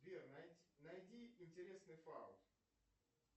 сбер найди интересный фаут